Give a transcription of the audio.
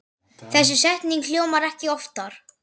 Þessi setning hljómar ekki oftar.